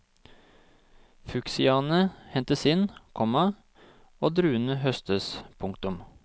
Fuksiaene hentes inn, komma og druene høstes. punktum